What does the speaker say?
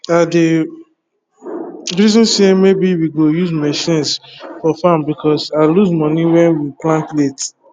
i dey reason say maybe we go use machines for farm because i lose money when we plant late